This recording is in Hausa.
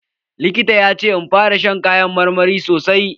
Likita ya ce in fara shan kayan marmari sosai.